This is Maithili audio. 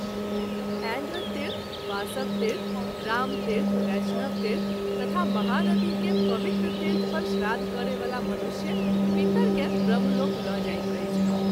ऐन्द्रतीर्थ, वासवतीर्थ, रामतीर्थ, बैष्णवतीर्थ तथा महानदी के पवित्र तीर्थ पर श्राद्ध करय वाला मनुष्य पितर के ब्रह्मलोक ल’ जाइत अछि।